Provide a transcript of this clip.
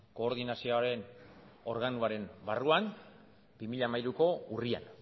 koordinazioaren organoaren barruan bi mila hamairuko urrian